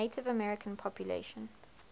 native american population